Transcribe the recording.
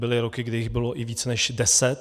Byly roky, kdy jich bylo i víc než deset.